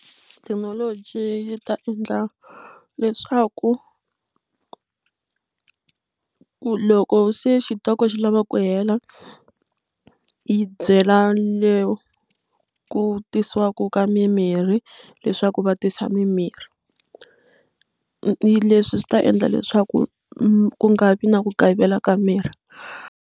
Thekinoloji yi ta endla leswaku loko se xitoko xi lava ku hela yi byela le ku tisiwaka ka mimirhi leswaku va tisa mimirhi leswi swi ta endla leswaku ku nga vi na ku kayivela ka mirhi.